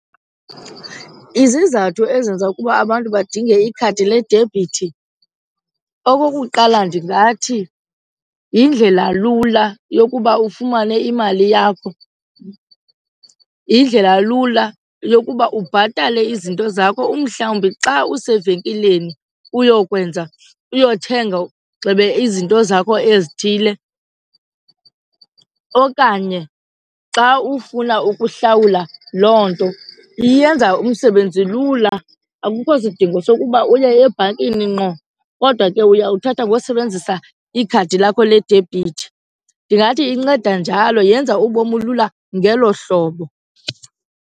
Izizathu ezenza ukuba abantu badinge ikhadi ledebhithi, okokuqala, ndingathi yindlela lula yokuba ufumane imali yakho, yindlela lula yokuba ubhatale izinto zakho. Uhlawumbi xa usevenkileni uyokwenza, uyothenga gxebe, izinto zakho ezithile okanye xa ufuna ukuhlawula loo nto. Iyenza umsebenzi lula, akukho sidingo sokuba uye ebhankini ngqo kodwa ke uyawuthatha ngosebenzisa ikhadi lakho ledebhithi. Ndingathi inceda njalo yenza ubomi lula ngelo hlobo.